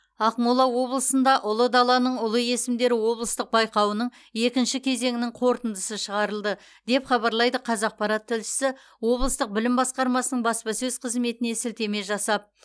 ақмола облысында ұлы даланың ұлы есімдері облыстық байқауының екінші кезеңінің қорытындысы шығарылды деп хабарлайды қазақпарат тілшісі облыстық білім басқармасының баспасөз қызметіне сілтеме жасап